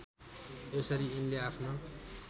यसरी यिनले आफ्नो